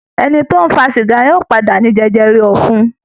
Ẹni tó ń fa sìgá yóò padà ní jẹjẹrẹ ọ̀fun